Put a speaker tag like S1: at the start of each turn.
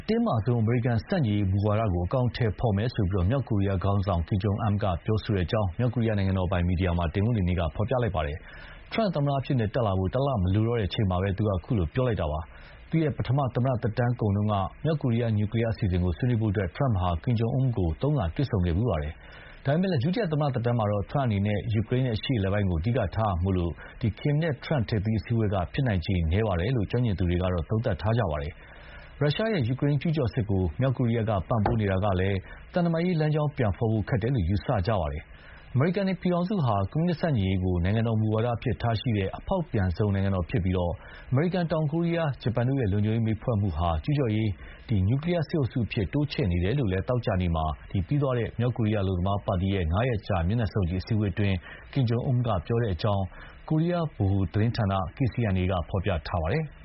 S1: တင်းမာဆုံးအမေရိကန် ဆန့်ကျင်ရေးမူဝါဒကို အကောင်အထည်ဖော်မယ်လို့ မြောက်ကိုရီးယား ခေါင်းဆောင် Kim Jong Un ကပြောကြောင်း မြောက်ကိုရီးယားနိုင်ငံတော်ပိုင် မီဒီယာက တနင်္ဂနွေနေ့မှာ ဖော်ပြလိုက်ပါတယ်။ ဒေါ်နယ်ထရမ့် သမ္မတအဖြစ် တက်လာဖို့ တလမလိုတော့တဲ့ အချိန်မှာ ခုလိုပြောလိုက်တာပါ။ သူ့ရဲ့ ပထမ သမ္မတသက်တမ်းတုန်းက မြောက်ကိုရီးယား နျူကလီးယား အစီအစဥ်ကို ဆွေးနွေးဖို့ ထရမ့်ဟာ Kim Jong Un ကို သုံးခါ တွေ့ခဲ့ဖူးပါတယ်။ ဒါပေမဲ့ ဒုတိယ သမ္မတသက်တမ်းမှာတော့ ထရမ့်အနေနဲ့ ယူကရိန်း နဲ့ အရှေ့အလယ်ပိုင်းကို အဓိကထားရမှာမို့ ကင်မ်နဲ့ ထရမ့် ထိပ်သီး အစည်းအဝေးက ဖြစ်နိုင်ခြေနည်းတယ်လို့ ကျွမ်းကျင်သူများစွာက သုံးသပ်ကြပါတယ်။ ရုရှား ရဲ့ ယူကရိန်း ကျူးကျော်စစ်ကို မြောက်ကိုရီးယားက ပံ့ပိုးနေတာကလည်း သံတမန်ရေးလမ်းကြောင်း ပြန်ဖော်ဖို့ ခက်တယ်လို့ ယူဆကြတာပါ။ အမေရိကန် နိုင်ငံဟာ ကွန်မြူနစ်ဆန့်ကျင်ရေးကို နိုင်ငံတော်မူဝါဒအဖြစ်ထားရှိတဲ့ အဖောက်ပြန်ဆုံးသောနိုင်ငံတော်ဖြစ်ပြီး အမေရိကန်၊ တောင်ကိုရီးယား၊ ဂျပန်တို့ရဲ့ လုံခြုံရေး မိတ်ဘက်ဖွဲ့မှုဟာ ကျူးကျော်ရေး နျူကလီးယား စစ်အုပ်စုအဖြစ် တိုးချဲ့နေတယ်လို့လည်း သောကြာနေ့မှာ ပြီးသွားတဲ့ မြောက်ကိုရီးယား အလုပ်သမားပါတီရဲ့ ၅ ရက်ကြာ မျက်နှာစုံညီ အစည်းအဝေးမှာ Kim Jong Un က ပြောခဲ့ကြောင်း ကိုရီးယားဗဟိုသတင်းဌာန
S2: KCNA က ဖော်ပြပါတယ်။